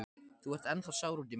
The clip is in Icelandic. Þú ert ennþá sár út í mig.